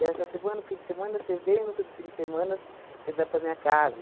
Dessa semana, o fim de semana, você vem, no outro fim de semanas, você vai para minha casa.